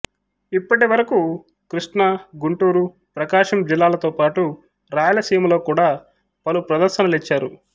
ఇప్పటి వరకు కృష్ణా గుంటూరు ప్రకాశం జిల్లాలతోపాటు రాయలసీమలో గూడా పలు ప్రదర్శ్డనలిచ్చారు